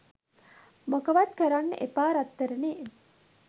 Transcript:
මොකවත් කරන්න එපා රත්තරනේ